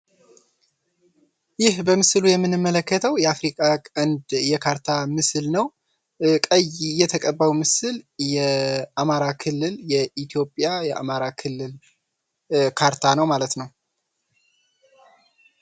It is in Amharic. ይህ በምስሉ የምንመለከተው የአፍሪካ ቀንድ የካርታ ምሥል ነው። ቀይ የተቀባው ምስል የኢትዮጵያ የአማራ ክልል ካርታ ነው ማለት ነው።